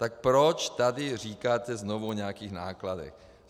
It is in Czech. Tak proč tady říkáte znovu o nějakých nákladech?